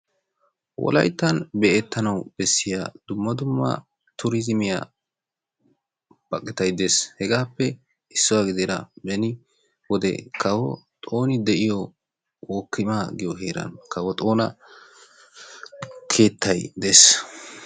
Wolayttan be'ettanawu bessiyaa dumma dumma tuurizimiyaa baqittay de'es. Hegaappe issuwa gidida beni wode kawo Xooni de'iyo wokkima giyoo heren kawo Xoona keettay dees.